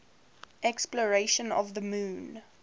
exploration of the moon